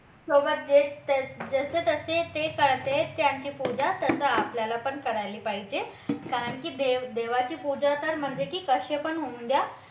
सोबत जे जसे तसे ते कळते त्यांची पूजा तसा आपल्याला पण करायला पाहिजे कारण की देव देवाची पूजा तर कशी पण होऊ द्या